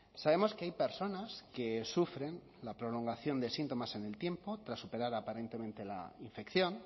sabemos que hay personas que sufren la prolongación de síntomas en el tiempo tras superar aparentemente la infección